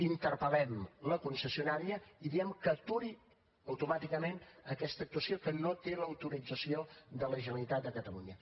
interpel·lem la concessionària i diem que aturi automàticament aquesta actuació que no té l’autorització de la generalitat de catalunya